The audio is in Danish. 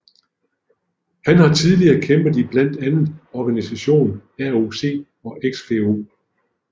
Han har tidligere kæmpet i blandt andet organisationerne ROC og XFO